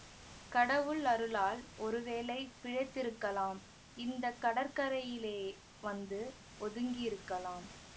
கடவுள் அருளால் ஒருவேளை பிழைத்திருக்கலாம் இந்த கடற்கரையிலே வந்து ஒதுங்கியிருக்கலாம்